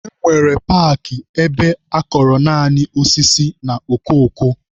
E nwere paakị ebe akọrọ naanị osisi na okoko.